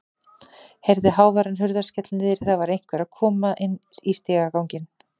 Heyrði háværan hurðarskell niðri, það var einhver að koma inn í stigaganginn.